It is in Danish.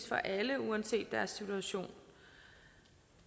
for alle uanset deres situation